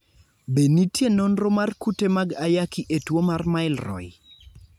Be nitie nonro mar kute mag ayaki e tuo mar Milroy?